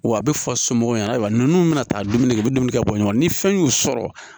Wa a bɛ fɔ somɔgɔw ɲɛna ayiwa ninnu bɛna taa dumuni kɛ u bɛ dumuni kɛ bɔɲɔgɔn ni fɛn y'u sɔrɔ